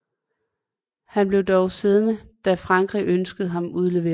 Han blev dog siddende da Frankrig ønskede ham udleveret